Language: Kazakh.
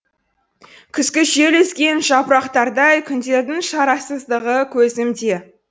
күзгі жел үзген жапырақтардай күндердің шарасыздығы көзімде